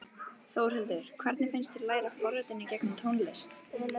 Þórhildur: Hvernig finnst þér að læra forritun í gegnum tónlist?